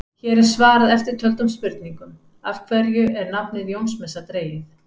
Hér er svarað eftirtöldum spurningum: Af hverju er nafnið Jónsmessa dregið?